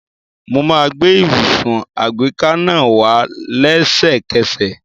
Mo máa gbé ibùsùn àgbéká náà wá lésẹ̀kẹsẹ̀